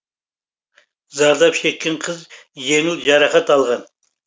зардап шеккен қыз жеңіл жарақат алған